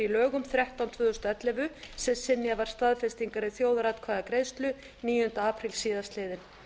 í lögum númer þrettán tvö þúsund og ellefu sem synjað var staðfestingar í þjóðaratkvæðagreiðslu níunda apríl síðastliðinn